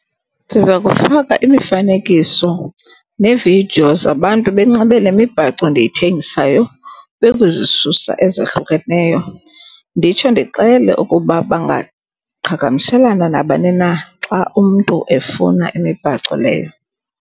Siza kufaka imifanekiso neevidiyo zabantu benxibe le mibhaco ndiyithengisayo, bekuzisusa ezahlukeneyo. Nditsho ndixele ukuba bangaqhagamshelana nabani na xa umntu efuna imibhaco leyo.